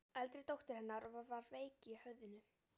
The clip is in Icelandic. Eldri dóttir hennar var veik í höfðinu.